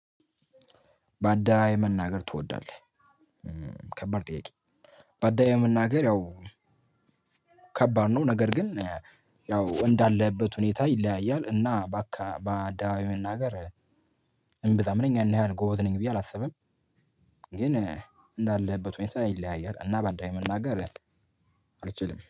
ባዳ የመናገር ትወዳለህ ከባድ ጥያቄ? ባዳ የመናገር ያው ከባድ ነው። ነገር ግን ያው እንዳለህበት ሁኔታ ይለያያል እና በአዳዊ መናገር። እንብዘም ነኝ እኔ ያን ጎበዝ ነኝ ብዬ አላስብም። ግን እንዳለህበት ሆኔታ ይለያያል እና ባዳ መናገር አልችልም